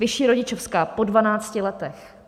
Vyšší rodičovská po 12 letech.